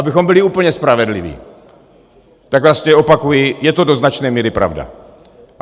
Abychom byli úplně spravedliví, tak vlastně opakuji, je to do značné míry pravda.